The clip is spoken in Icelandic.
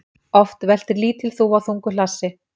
Oft veltir lítil þúfa þungu hlassi.